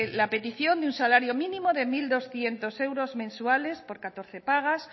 la petición de un salario mínimo de mil doscientos euros mensuales por catorce pagas